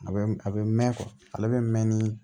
A bɛ a bɛ mɛn ale bɛ mɛn ni